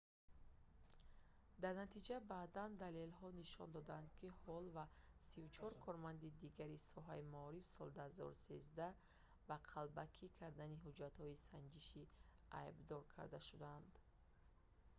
дар натиҷа баъдан далелҳо нишон доданд ки ҳолл ва 34 корманди дигари соҳаи маориф соли 2013 ба қалбакӣ кардани ҳуҷҷатҳои санҷишӣ айбдор карда шуданд